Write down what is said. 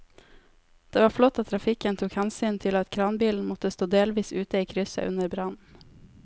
Det var flott at trafikken tok hensyn til at kranbilen måtte stå delvis ute i krysset under brannen.